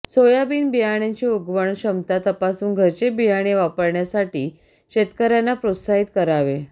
soybean बियाण्याची उगवण क्षमता तपासून घरचे बियाणे वापरण्यासाठी शेतकऱ्यांना प्रोत्साहित करावे